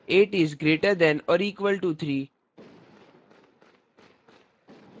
8 is greater than or equal to 3